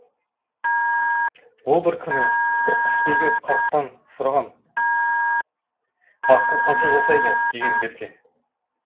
ол бір күні бір құсбегі қарттан сұраған аққу қанша жасайды деген берке